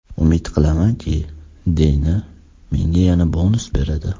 Umid qilamanki, Deyna menga yana bonus beradi.